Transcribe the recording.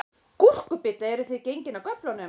Gúrkubita, eruð þið gengin af göflunum?